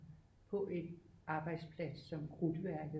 På en arbejdsplads som krudtværket